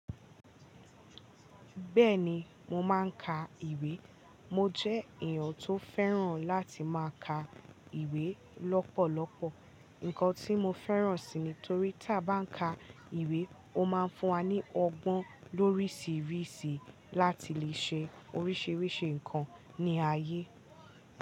Bẹ́ẹ̀ni mo máa ń ka ìwé. Mo jẹ́ èèyàn tó fẹ́ràn láti máa ka ìwé lọ́pọ̀lọpọ̀. Nnkan tí mo fẹ́ràn sii nítorí tí a bá ń ka ìwé ó máa ń fún wa ní ọgbọ́n lóríṣiríṣi láti leè ṣe oríṣiríṣi nǹkan ní ayé.